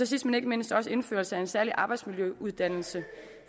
sidst men ikke mindst indførelse af en særlig arbejdsmiljøuddannelse